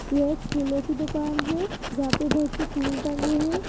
यह एक फूलों की दुकान है जहां पे बहोत से फुल टंगे है।